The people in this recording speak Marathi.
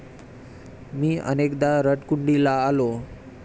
मी अनेकदा रडकुंडीला आलो.